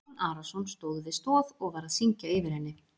Jón Arason stóð við stoð og var að syngja yfir henni.